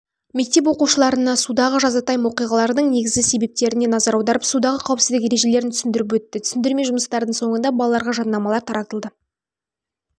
мектеп оқушыларына судағы жазатайым оқиғалардың негізгі себептеріне назар аударып судағы қауіпсіздік ережелерін түсіндіріп өтті түсіндірме жұмыстардың соңында балаларға жадынамалар таратылды